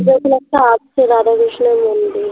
ওই খানে একটা আছে রাধা কৃষ্ণর মন্দির